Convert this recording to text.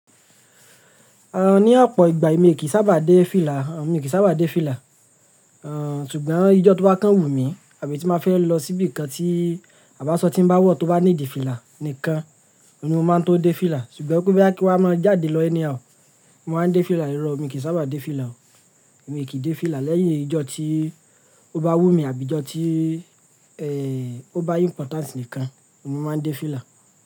Ní ọ̀pọ̀ ìgbà èmi kì í sábà dé fìlà, èmi kì í sábà dé fìlà. Ṣùgbọ́n ìjọ tó bá kán wù mí àbí tí má fẹ́ lọ síbìkan tí à b'aṣọ tí ń bá wọ̀ tó bá need fìlà nìkan ni mo máa ń tó dé fìlà. Ṣùgbọ́n pe kin wá máa jáde lọ anyhow, mo wá ń dé fìlà. Ìrọ̀ o, mi kì ń sábà dé fìlà o. Èmi kì í dé fìlà lẹ́yìn ìjọ tí ó bá wù mí àbí ìjọ tí, ó bá important nìkan ni mo máa ń dé fìlà.